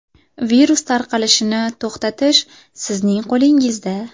Virus tarqalishini to‘xtatish sizning qo‘lingizda.